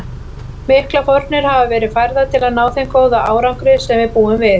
Miklar fórnir hafa verið færðar til að ná þeim góða árangri sem við búum við.